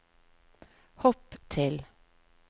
hopp til